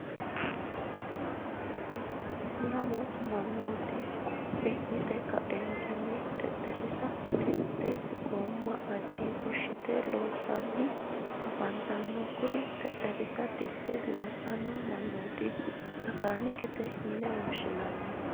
lammu manooti quphi yitte ka'eenitinni xexerisa titiritte gooma adii fushitte loosanni afanitanno kurri xexerisa titiritte loosano manoota makanikete yinne woshinanni.